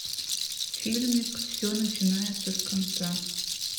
фильмик все начинается с конца